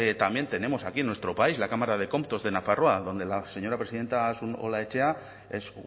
también tenemos aquí en nuestro país la cámara de comptos de nafarroa donde la señora presidenta asun olaechea es